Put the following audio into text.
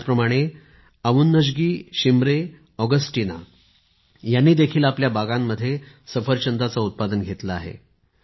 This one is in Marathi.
त्याचप्रमाणे अवुन्गशी शिमरे ऑगस्टीना यांनी देखील आपल्या बागांमध्ये सफरचंदाचे उत्पादन घेतले आहे